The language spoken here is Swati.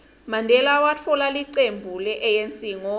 mandela watfola licembu le anc ngo